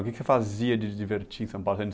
O que que você fazia de divertir em São Paulo? Você ia no